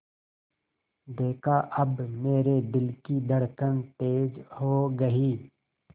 देखा अब मेरे दिल की धड़कन तेज़ हो गई